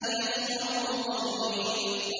يَفْقَهُوا قَوْلِي